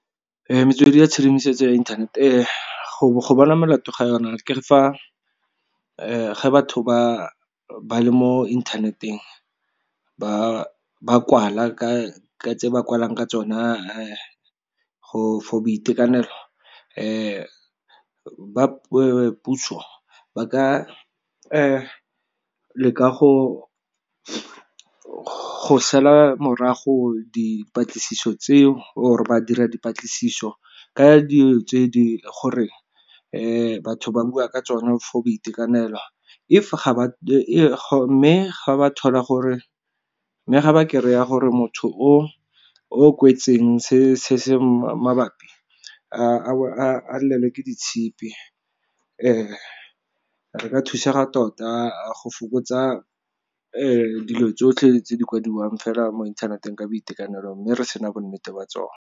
Metswedi ya tshedimosetso ya internet, go bona molato ga yona ke fa ga batho ba le mo inthaneteng ba kwala ka tse ba kwalang ka tsona for boitekanelo, ba puso ba ka leka go sala morago dipatlisiso tseo or ba dira dipatlisiso ka dilo tse gore ke batho ba bua ka tsone for boitekanelo. Mme ga ba kry-a gore motho o kwetseng se se mabapi a lelelwe ke ditshipi. Re ka thusega tota go fokotsa dilo tsotlhe tse di kwadiwang fela mo inthaneteng ka boitekanelo mme re sena bonnete ba tsone.